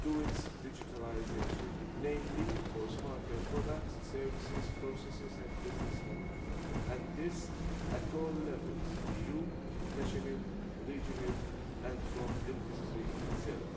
through its digitalisation, in particular for smarter products, services, processes and business models, and this at all levels EU, national, regional and from industry itself.